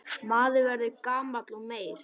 Maður verður gamall og meyr.